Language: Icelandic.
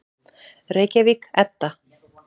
Reykjavík, Edda.